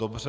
Dobře.